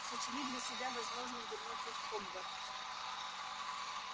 сочли для себя возможным вернуться в хогвартс